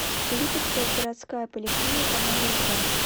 липецкая городская поликлиника номер два